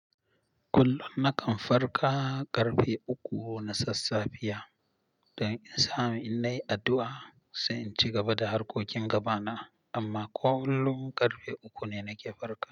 Kullum nakan farka karfe uku na sassafe don in samu in yi addu'a sai in ci gaba da harkokin gabana. Amma ko kullum karfe uku ne nake farka.